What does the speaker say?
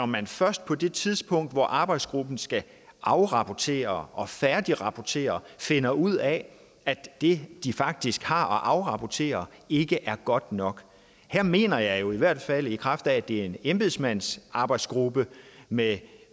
man først på det tidspunkt hvor arbejdsgruppen skal afrapportere og færdigrapportere finder ud af at det de faktisk har at afrapportere ikke er godt nok her mener jeg jo i hvert fald at i kraft af at det er en embedsmandsarbejdsgruppe med